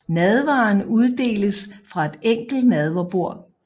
Nadveren uddeles fra et enkelt nadverbord